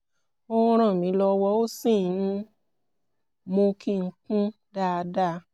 ó ń ràn mí lọ́wọ́ ó sì ń mú kí n kún dáadáa